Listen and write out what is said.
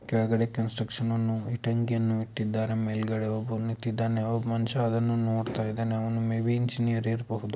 ಕೆಳಗಡೆ ಕನ್ಸ್ಟ್ರಕ್ಷನ್ ಅವ್ನು ಇಟ್ಟಂಗಿಯನ್ನು ಇಟ್ಟಿದಾನೆ. ಮೇಲ್ಗಡೆ ಒಬ್ಬ ನಿಂತಿದ್ದರೆ ಒಬ್ಬ ಮನುಷ್ಯ ಅದನ್ನು ನೋಡುತಿದ್ದಾನೆ. ಅವ್ನು ಮೇ ಬಿ ಇಂಜಿನಿಯರಿಂಗ್ ಇರಬಹುದು.